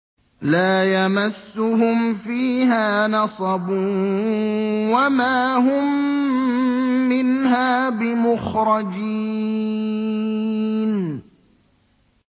لَا يَمَسُّهُمْ فِيهَا نَصَبٌ وَمَا هُم مِّنْهَا بِمُخْرَجِينَ